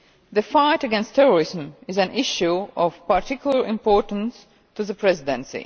The fight against terrorism is an issue of particular importance to the Presidency.